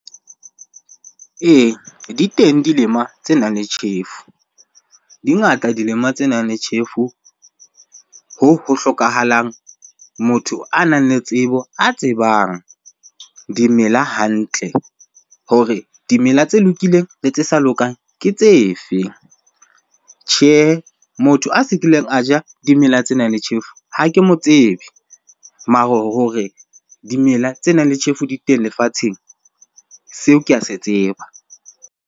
Eya, di teng dilema tse nang le tjhefu. Di ngata dilema tse nang le tjhefu, hoo ho hlokahalang motho a nang le tsebo, a tsebang dimela hantle hore dimela tse lokileng le tse sa lokang ke tse fe? Tjhehe, motho a se kileng a ja dimela tse nang le tjhefu ha ke mo tsebe. Mare hore dimela tse nang le tjhefu di teng lefatsheng, seo ke a se tseba.